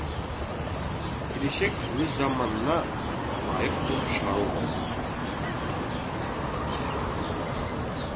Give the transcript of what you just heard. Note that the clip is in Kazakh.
келешек өз заманына лайық қылып шығару ғой